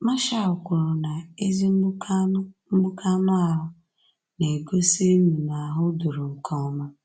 Marshall kwuru na ezi mgbuke anu mgbuke anu ahụ na-egosi - Nnunu ahụdoro nke ọma.